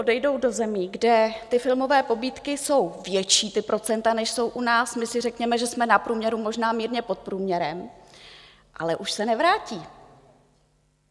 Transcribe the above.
Odejdou do zemí, kde ty filmové pobídky jsou větší, ta procenta, než jsou u nás - my si řekněme, že jsme na průměru, možná mírně pod průměrem - ale už se nevrátí.